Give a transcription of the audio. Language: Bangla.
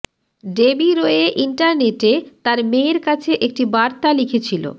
ডেবি রোয়ে ইন্টারনেটে তার মেয়ের কাছে একটি বার্তা লিখেছিল